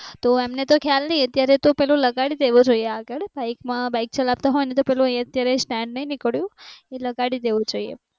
તો એમને તો ખ્યાલ નહી અત્યારે તો પેલુ લગાડી દેવુ જોઈએ આગળ બાઈક મા બાઈક ચલાવતા હોય ને તો પેલુ એ અત્યારે સ્ટેન્ડ નહી નીકળ્યુ એ લગાડી દેવુ જોઈએ